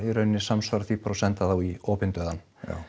í raun samsvarar því bara að senda þá í opinn dauðann